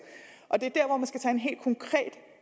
og det